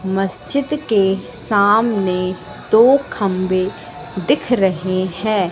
मस्जिद के सामने दो खंबे दिख रहे हैं।